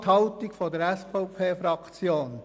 Noch einmal die Haltung der SVP-Fraktion: